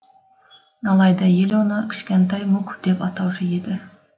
алайда ел оны кішкантай мук деп атаушы еді